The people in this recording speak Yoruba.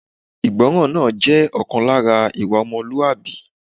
Ìgbọràn náà jẹ́ ọ̀kan lára ìwà ọmọlúwàbí